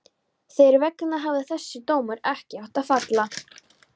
Þeirra vegna hefði þessi dómur ekki átt að falla.